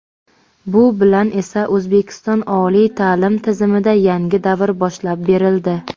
Bu bilan esa – O‘zbekiston oliy ta’lim tizimida yangi davr boshlab berildi.